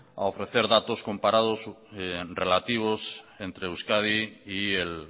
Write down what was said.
a ofrecer datos comparados relativos entre euskadi y el